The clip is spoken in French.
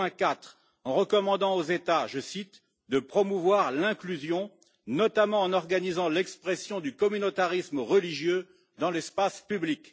2.4, en recommandant aux États je cite de promouvoir l'inclusion, notamment en organisant l'expression du communautarisme religieux dans l'espace public.